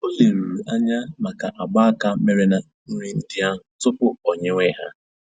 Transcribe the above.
Ọ leruru anya maka agba aka mere na nri ndị ahụ tupu o nyèwe ha